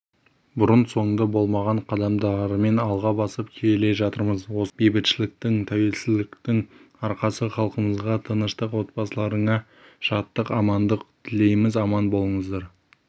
бұрын-соңды болмаған қадамдармен алға басып келе жатырмыз осының бәрі бейбітшіліктің тәуелсіздіктің арқасы халқымызға тыныштық отбасыларыңа шаттық амандық тілейміз аман болыңыздар